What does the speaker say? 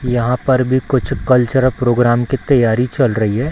यहाँ पर भी कुछ कल्चर और प्रोग्राम की तैयारी चल रही है।